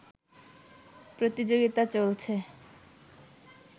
প্রতিযোগিতা চলছে